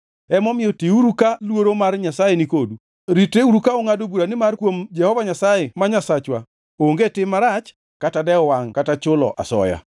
Emomiyo tiuru ka luoro mar Nyasaye ni kodu. Ritreuru ka ungʼado bura nimar kuom Jehova Nyasaye ma Nyasachwa onge tim marach kata dewo wangʼ kata chulo asoya.”